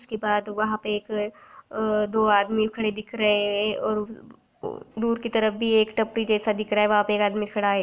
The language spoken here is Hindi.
उसके बाद वहाँ पे एक अ दो आदमी खड़े दिख रहे हैं और दूर की तरफ एक टपरी जैसा दिख रहा है वहाँ पे एक आदमी खड़ा है।